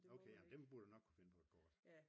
Okay jamen dem burde du nok kunne finde på et kort